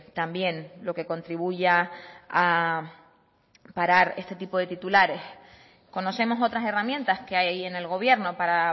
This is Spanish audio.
también lo que contribuya a parar este tipo de titulares conocemos otras herramientas que hay en el gobierno para